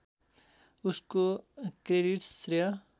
उसको क्रेडिट्स श्रेय